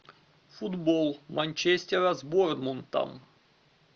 футбол манчестера с борнмутом